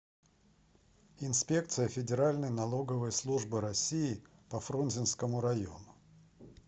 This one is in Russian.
инспекция федеральной налоговой службы россии по фрунзенскому району